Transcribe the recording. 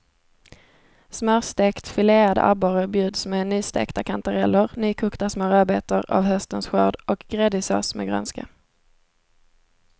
Smörstekt filead abborre bjuds med nystekta kantareller, nykokta små rödbetor av höstens skörd och gräddig sås med grönska.